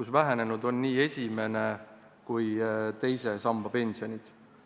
kus vähenenud on nii esimene kui teise samba pensionid.